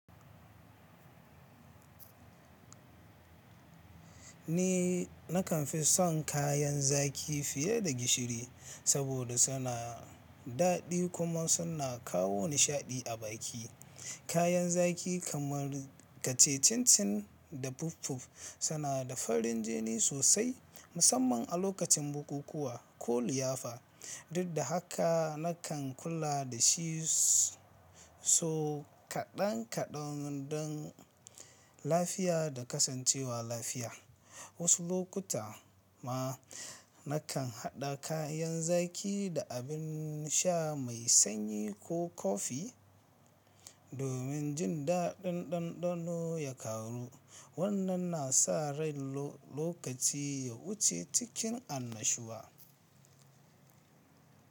Ni nakan fi son kayan zaki fiye da gishiri saboda suna daɗi kuma suna kawo nishaɗi a baki. Kayan zaki kamar kace cincin da puff puff suna da farin jini sosai, musamman a lokacin bukukuwa ko liyafa. Dukda haka nakan kula da shiso kaɗan kaɗan don lafiya da kasancewa lafiya. Wasu lokuta ma nakan haɗa kayan zaki da abin sha mai sanyi ko kofi domin jin daɗin ɗanɗano ya ƙaru. Wannan na sa rai lokaci ya wuce cikin annashuwa.